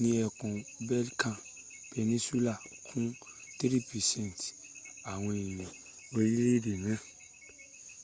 ni ekun balkan peninsula kun 3% awon eeyan orile ede naa